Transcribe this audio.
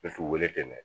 wele ten dɛ